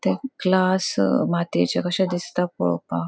ते ग्लास मातिएचे कशे दिसता पोळोपाक.